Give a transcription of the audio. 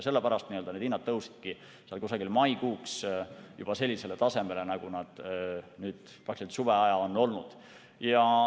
Sellepärast need hinnad tõusidki umbes maikuuks juba sellisele tasemele, nagu nad praktiliselt terve suveaja olid.